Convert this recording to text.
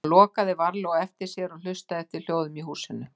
Hann lokaði varlega á eftir sér og hlustaði eftir hljóðum í húsinu.